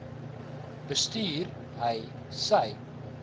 bestuur hy sy